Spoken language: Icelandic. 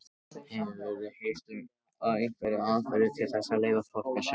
Hefurðu heyrt um einhverjar aðferðir til þess að leyfa fólki að sjá?